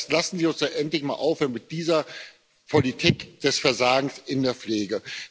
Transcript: Das heißt, lassen Sie uns doch endlich mal aufhören mit dieser Politik des Versagens in der Pflege!